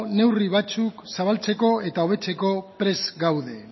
neurri batzuk zabaltzeko eta hobetzeko prest gaude